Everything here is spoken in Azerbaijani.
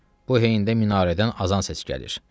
Bu heyyində minarədən azan səs gəlir.